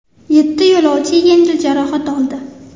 Yetti yo‘lovchi yengil jarohat oldi.